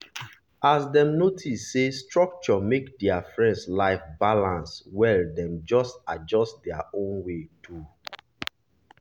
as dem notice say structure make their friend life balance well dem adjust their own way too.